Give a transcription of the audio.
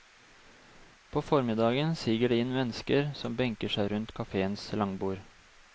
På formiddagen siger det inn mennesker som benker seg rundt kaféens langbord.